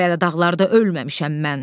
Hələ də dağlarda ölməmişəm mən.